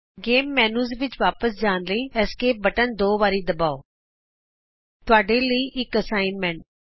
game menu ਵਿਚ ਵਾਪਸ ਜਾਣ ਲਈ ਐਸਕੇਪ ਦਾ ਬਟਨ ਦੋ ਵਾਰੀ ਦਬਾਉltpausegt ਇਥੇ ਤੁਹਾਡੇ ਲਈ ਇਕ ਅਸਾਈਨਮੈਂਟ ਹੈ